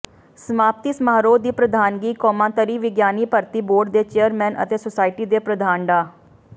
ਸਮਾਪਤੀ ਸਮਾਰੋਹ ਦੀ ਪ੍ਰਧਾਨਗੀ ਕੌਮਾਂਤਰੀ ਵਿਗਿਆਨੀ ਭਰਤੀ ਬੋਰਡ ਦੇ ਚੇਅਰਮੈਨ ਅਤੇ ਸੋਸਾਇਟੀ ਦੇ ਪ੍ਰਧਾਨ ਡਾ